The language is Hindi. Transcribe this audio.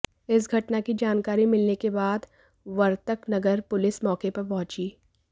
इस घटना की जानकारी मिलने के बाद वर्तकनगर पुलिस मौके पर पहुंची